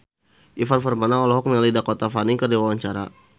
Ivan Permana olohok ningali Dakota Fanning keur diwawancara